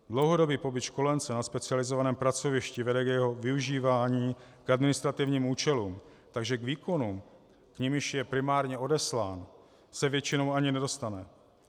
Dlouhodobý pobyt školence na specializovaném pracovišti vede k jeho využívání k administrativním účelům, takže k výkonům, k nimiž je primárně odeslán, se většinou ani nedostane.